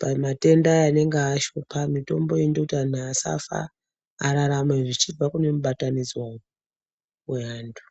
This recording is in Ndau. pamatenda aye anenge ashupa mitombo inoita kuti antu asafa ararame zvichibva kune mibatanidzwa yevantu .